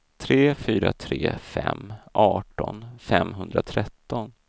tre fyra tre fem arton femhundratretton